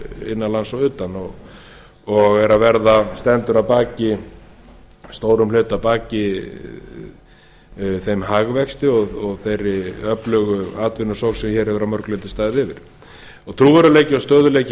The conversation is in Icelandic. innanlands og utan og stendur að stórum hluta að baki þeim hagvexti og þeirri öflugu atvinnusókn sem hér hefur að mörgu leyti staðið yfir trúverðugleiki og stöðugleiki